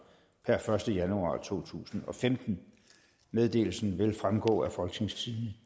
per første januar to tusind og femten meddelelsen vil fremgå af folketingstidende